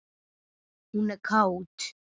Hún er kát.